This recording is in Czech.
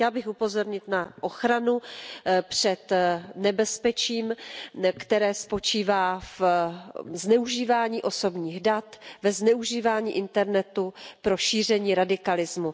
Chtěla bych upozornit na ochranu před nebezpečím, které spočívá ve zneužívání osobních dat, ve zneužívání internetu pro šíření radikalismu.